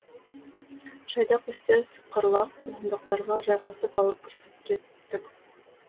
жайдақ үстел сықырлақ орындықтарға жайғасып алып кірісіп кеттік